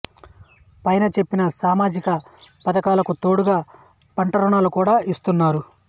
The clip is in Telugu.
పైన చెప్పిన సామజిక పధకాలకు తోడుగా పంట రుణాలు కూడా ఇస్తున్నారు